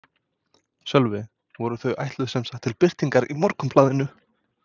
Sölvi: Voru þau ætluð sem sagt til birtingar í Morgunblaðinu?